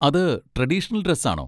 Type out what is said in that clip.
അത് traditional dress ആണോ?